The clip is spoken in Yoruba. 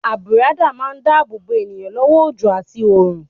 Àbùradà má ń dá ààbò bo èèyàn lọ́wọ́ òjò àti òòrùn.